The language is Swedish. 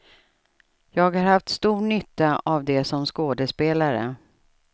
Jag har haft stor nytta av det som skådespelare.